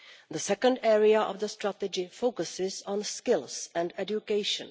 The second area of the strategy focuses on skills and education.